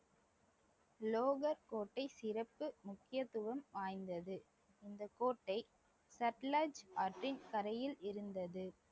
லோகர் கோட்டை சிறப்பு முக்கியத்துவம் வாய்ந்தது இந்த கோட்டை சட்லஜ் ஆற்றின் கரையில் இருந்தது